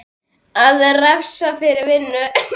Á að refsa fyrir vinnu?